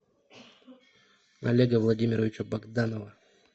олега владимировича богданова